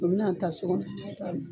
U bɛna taa so